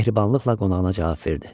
Mehribanlıqla qonağına cavab verdi.